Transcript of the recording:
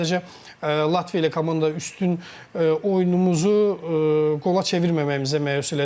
Mən sadəcə Latviya ilə komanda üstün oyunumuzu qola çevirməməyimizə məyus elədim.